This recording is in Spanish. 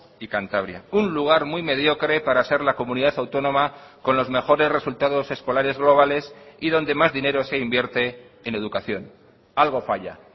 y cantabria un lugar muy mediocre para ser la comunidad autónoma con los mejores resultados escolares globales y donde más dinero se invierte en educación algo falla